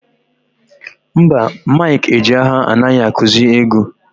Mba, Mike Ejeagha anaghị akụzị egwu.